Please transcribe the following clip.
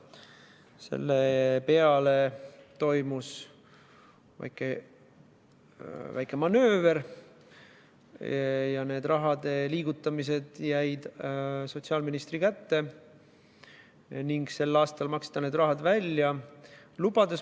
Selle peale toimus väike manööver: selle raha liigutamine jäi sotsiaalministri kätte ning see sel aastal välja maksta.